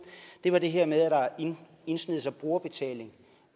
er det her med at der har indsneget sig brugerbetaling